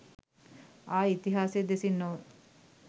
ආයේ ඉතිහාසය දෙසින් නොව